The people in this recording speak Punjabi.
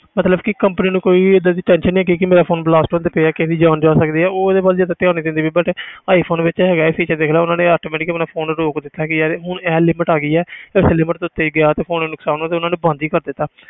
ਮਤਲਬ ਕਿ company ਨੂੰ ਕੋਈ ਵੀ ਏਦਾਂ ਦੀ tension ਨੀ ਹੈਗੀ ਕਿ ਮੇਰਾ phone blast ਹੁੰਦੇ ਪਏ ਆ ਕਿਸੇ ਦੀ ਜਾਨ ਜਾ ਸਕਦੀ ਹੈ ਉਹ ਉਹਦੇ ਵੱਲ ਜ਼ਿਆਦਾ ਧਿਆਨ ਨੀ ਦਿੰਦੀ ਪਈ but iphone ਵਿੱਚ ਹੈਗਾ ਇਹ feature ਦੇਖ ਲਾ ਉਹਨਾਂ ਨੇ automatically ਆਪਣਾ phone ਰੋਕ ਦਿੱਤਾ ਕਿ ਯਾਰ ਹੁਣ ਇਹ limit ਆ ਗਈ ਹੈ ਤੇ ਇਸ limit ਤੋਂ ਉੱਤੇ ਗਿਆ ਤੇ phone ਨੁਕਸਾਨ ਹੋਊ ਤੇ ਉਹਨਾਂ ਨੇ ਬੰਦ ਹੀ ਕਰ ਦਿੱਤਾ।